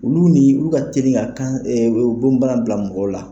Olu ni olu ka ti ka kan bɔn bana bila mɔgɔw la.